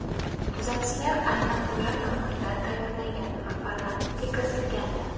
Tuzatishlar aynan ular tomonidan tayyorlangan va parlamentga kiritilgandi.